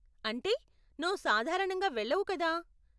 అంటే, నువ్వు సాధారణంగా వెళ్లవు కదా.